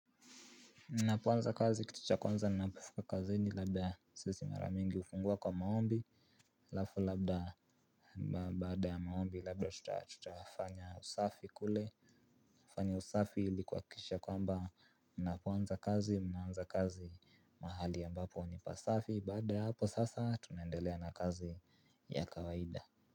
Napoanza kazi kitu cha kwanza na napofika kazini labda sisi maramingi ufungua kwa maombi. Lafu labda baada ya maombi labda tuta fanya usafi kule. Fanya usafi ili kuakisha kwamba mnapoanza kazi mnaanza kazi mahali ambapo ni pasafi baada ya hapo sasa tunaendelea na kazi ya kawaida.